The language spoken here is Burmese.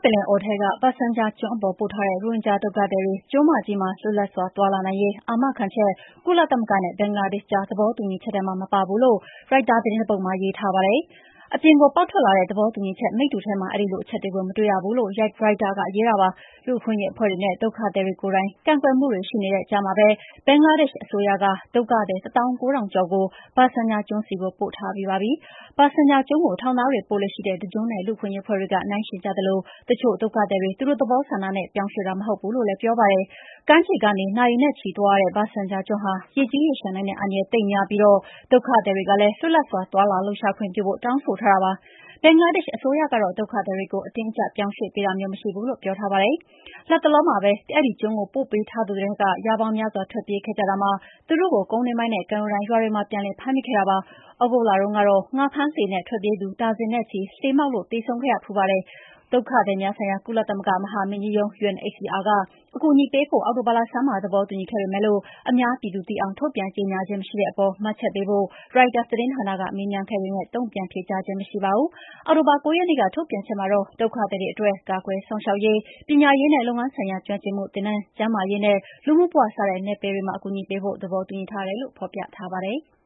ပင်လယ်အော်ထဲက Bhasan Char ကျွန်းပေါ်ပို့ထားတဲ့ ရိုဟင်ဂျာဒုက္ခသည်တွေ ကျွန်းမကြီးမှာ လွတ်လွတ်လပ်စွာသွားလာနိုင်ရေး အာမခံချက် ကုလသမဂ္ဂနဲ့ ဘင်္ဂလားဒေ့ရှ်ကြား သဘောတူညီချက်ထဲမှာ မပါဘူးလို့ ရိုက်တာသတင်းတပုဒ်မှာ ရေးထားပါတယ်။ အပြင်ကိုပေါက်ထွက်လာတဲ့ သဘောတူညီချက်မိတ္တူထဲမှာ အဲဒီလိုအချက်ကို မတွေ့ရဘူးလို့ ရိုက်တာက ရေးပါတယ်။ လူ့အခွင့်အရေးအဖွဲ့တွေနဲ့ ဒုက္ခသည်တွေကိုယ်တိုင် ကန့်ကွက်မှုတွေရှိနေတဲ့ကြားမှာပဲ ဘင်္ဂလားဒေ့ရှ်အစိုးရက ဒုက္ခသည် ၁၉,၀၀၀ ကျော်ကို ဘာဆန်ချာကျွန်းဆီပို့ထားပြီးပါပြီ။ ဘာဆန်ချာကျွန်းကို ထောင်သားတွေပို့လေ့ရှိတဲ့ တကျွန်းနဲ့ လူ့အခွင့်အရေးအဖွဲ့တွေက နှိုင်းယှဉ်ကြသလို တချို့ဒုက္ခသည်တွေ သူတို့သဘောဆန္ဒနဲ့ ပြောင်းရွှေ့တာ မဟုတ်ဘူးလို့လည်း ပြောပါတယ်။ ကမ်းခြေကနေ နာရီနဲ့ချီသွားရတဲ့ ဘာဆန်ချာကျွန်းဟာ ရေကြီးရေလျှံနိုင်တဲ့အန္တရာယ် သိပ်များပြီးဒုက္ခသည်တွေကလည်း လွတ်လပ်စွာ သွားလှုပ်ရှားလာခွင့်ပြုဖို့ တောင်းဆိုထားတာပါ။ ဘင်္ဂလားဒေ့ရှ်အစိုးရကတော့ ဒုက္ခသည်တွေကို အတင်းအကြပ်ပြောင်းရွှေ့ပေးတာမျိုး မရှိဘူးလို့ ပြောထားပါတယ်။ လတ်တလောလတွေမှာပဲ အဲဒီကျွန်းကို ပို့ပေးထားသူတွေထဲက ရာပေါင်းများစွာ ထွက်ပြေးခဲ့ကြတာမှာ သူတို့ကို ကုန်းတွင်းပိုင်းနဲ့ ကမ်းရိုးတန်းရွာတွေမှာ ပြန်ပြီး ဖမ်းမိခဲ့ပါတယ်။ သြဂုတ်လတုန်းကတော့ ငါးဖမ်းလှေနဲ့ထွက်ပြေးသူ ဒါဇင်နဲ့ချီ လှေမှောက်လို့ သေဆုံးခဲ့ဖူးပါတယ်။ ကုလသမဂ္ဂ ဒုက္ခသည်များဆိုင်ရာ မဟာမင်းကြီးရုံး UNHCR က အကူအညီပေးဖို့ အောက်တိုဘာလဆန်းပိုင်းမှာ သဘောတူညီခဲ့ပေမယ့် အများပြည်သူသိအောင် ထုတ်ပြန်ကြေငြာခြင်းမရှိတဲ့အပေါ် မှတ်ချက်ပေးဖို့ ရိုက်တာက မေးခဲ့ပေမယ့် တုံ့ပြန်ဖြေကြားခြင်းမရှိပါဘူူး။ အောက်တိုဘာ ၉ရက်နေ့ ထုတ်ပြန်ချက်မှာတော့ဒုက္ခသည်တွေအတွက် ကာကွယ်စောင့်ရှောက်ရေး၊ ပညာရေးနဲ့ လုပ်ငန်းဆိုင်ရာ ကျွမ်းကျင်မှုသင်တန်း၊ ကျန်းမာရေးနဲ့ လူနေမှုဘဝ စတဲ့နယ်ပယ်တွေမှာ အကူအညီပေးဖို့ သဘောတူညီထားတယ်လို့ ဖော်ပြထားပါတယ်။